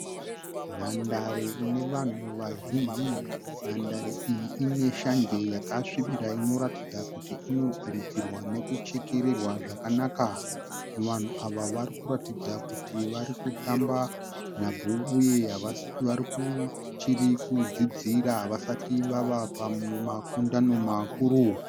Nhandare inevanhu vazhinji. Nhandare iyi ine shanje yakasvibira inoratidza kuti inodiridzirwa nekuchekererwa zvakanaka. Vanhu ava varikuratidza kuti varikutamba nhabvu uye vachiri kudzidzira havasati vavapamakundano makuru.